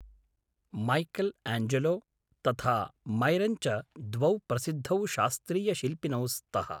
Michael आञ्जेलो, तथा Myron च द्वौ प्रसिद्धौ शास्त्रीयशिल्पिनौ स्तः।